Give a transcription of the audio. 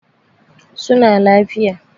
Su na lafiya.